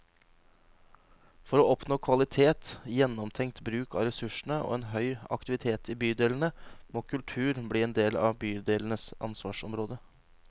For å oppnå kvalitet, gjennomtenkt bruk av ressursene og en høy aktivitet i bydelene, må kultur bli en del av bydelenes ansvarsområde.